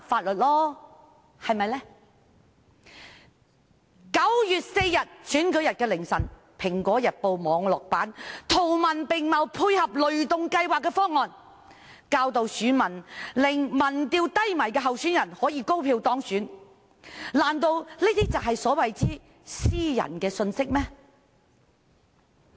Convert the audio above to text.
然而，在9月4日選舉日凌晨，《蘋果日報》網絡版圖文並茂配合雷動計劃的方案，教導選民如何令民調中落後的候選人高票當選，難道這些都是所謂的私人信息？